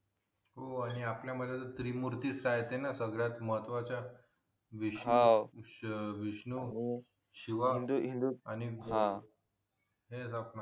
हो आणि आपल्या मध्ये जे त्रिमूर्ती आहेत ना ते सगळ्यात महतवाच्या विष्णू विष्णू शिवा आणि हे